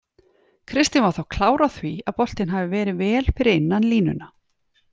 Kristinn var þó klár á því að boltinn hafi verið vel fyrir innan línuna.